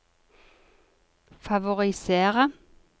favorisere